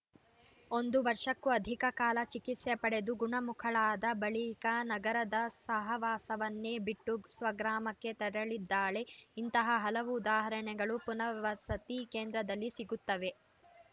ಒಂದು ವರ್ಷಕ್ಕೂ ಅಧಿಕ ಕಾಲ ಚಿಕಿತ್ಸೆ ಪಡೆದು ಗುಣಮುಖಳಾದ ಬಳಿಕ ನಗರದ ಸಹವಾಸವನ್ನೇ ಬಿಟ್ಟು ಸ್ವಗ್ರಾಮಕ್ಕೆ ತೆರಳಿದ್ದಾಳೆ ಇಂತಹ ಹಲವು ಉದಾಹರಣೆಗಳು ಪುನರ್ವಸತಿ ಕೇಂದ್ರದಲ್ಲಿ ಸಿಗುತ್ತವೆ